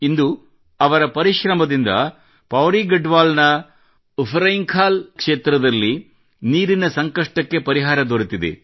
ಇಂದು ಅವರ ಪರಿಶ್ರಮದಿಂದ ಪೌಡಿ ಗಡ್ವಾಲದ ಉಫ್ರೆಂಖಾಲ್ ಕ್ಷೇತ್ರದಲ್ಲಿ ನೀರಿನ ಸಂಕಷ್ಟಕ್ಕೆ ಪರಿಹಾರ ದೊರೆತಿದೆ